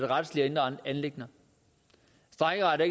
retslige og indre anliggender strejkeret er